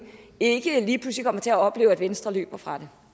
ikke lige pludselig kommer til at opleve at venstre løber fra det